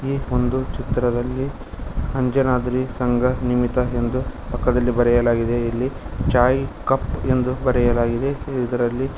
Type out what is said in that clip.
ಈ ಒಂದು ಚಿತ್ರದಲ್ಲಿ ಅಂಜನಾದ್ರಿ ಸಂಘ ನಿಮಿತ ಎಂದು ಪಕ್ಕದಲ್ಲಿ ಬರೆಯಲಾಗಿದೆ ಇಲ್ಲಿ ಚಾಯ್ ಕಪ್ ಎಂದು ಬರೆಯಲಾಗಿದೆ ಇದ್ರಲ್ಲಿ--